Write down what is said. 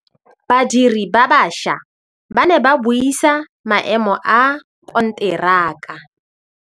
Badiri ba baša ba ne ba buisa maêmô a konteraka.